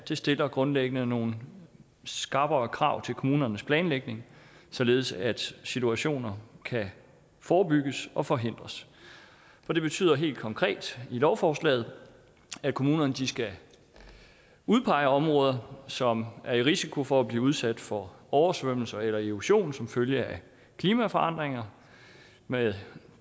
stiller grundlæggende nogle skrappere krav til kommunernes planlægning således at situationer kan forebygges og forhindres for det betyder helt konkret i lovforslaget at kommunerne skal udpege områder som er i risiko for at blive udsat for oversvømmelser eller erosion som følge af klimaforandringer med